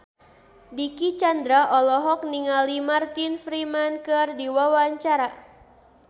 Dicky Chandra olohok ningali Martin Freeman keur diwawancara